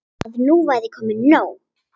Að nú væri komið nóg.